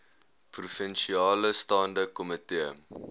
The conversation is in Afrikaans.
provinsiale staande komitee